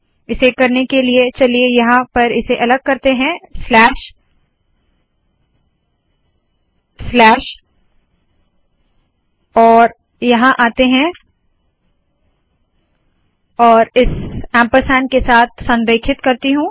इसे करने के लिए चलिए यहाँ पर इसे अलग करते है स्लैश स्लैश और यहाँ आते है और इस ऐंपरसैंड के साथ संरेखित करती हूँ